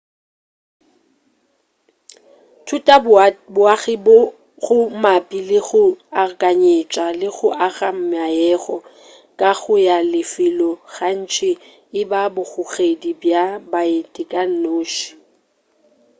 thutaboagi go mabapi le go akanyetša le go aga meago kago ya lefelo gantši e ba bogogedi bja baeti ka noši